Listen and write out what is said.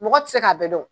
Mɔgɔ tɛ se k'a bɛɛ dɔn